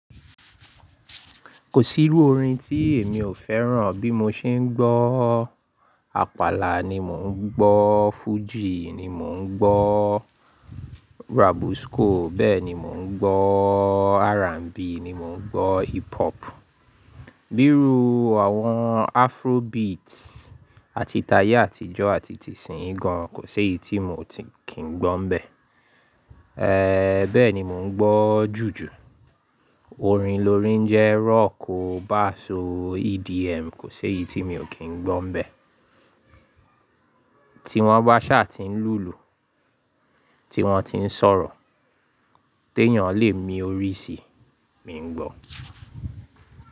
Kò sí irú orin tí èmi ò fẹ́ràn bí mo ṣe ń gbọ́. Àpàlà ni mò ń gbọ́, fújì ni mò ń gbọ́, rabusco bẹ́ẹ̀ni mò ń gbọ́, R&B ni mò ń gbọ́, hip hop. Bíi ru àwọn afrobeat àti tayé àtijọ́ àti tìsínyì gan, kò ṣe éyí tí mò kí n gbọ́ n bẹ́ẹ̀. Bẹ́ẹ̀ni mo ń gbọ́ jùjù. Orin lórín jẹ́ rock o, bass o EDM kò ṣe éyí tí mi ò kí ń gbọ́ n bẹ́ẹ̀. Tí wọ́n bá sa tín lùlù tí wọ́n tín sọ̀rọ̀, tí èèyàn lè mi orí sí. Mi ń gbọ́.